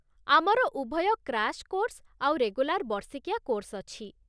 ଆମର ଉଭୟ crash course ଆଉ ରେଗୁଲାର ବର୍ଷିକିଆ କୋର୍ସ ଅଛି ।